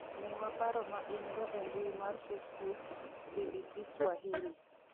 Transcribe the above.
Miwa paro ma in - go e mbui mar Facebuk, bbcswahili.